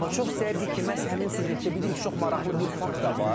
Amma çox istəyərdik ki, məhz həmin süjetdə bilirik ki, çox maraqlı bir fakt da var.